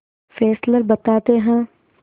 Fessler बताते हैं